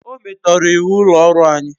O metoro iwu ulo oru anyi